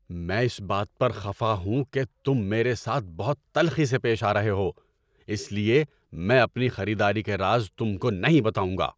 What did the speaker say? میں اس بات پر خفا ہوں کہ تم میرے ساتھ بہت تلخی سے پیش آ رہے ہو، اس لیے میں اپنی خریداری کے راز تم کو نہیں بتاؤں گا۔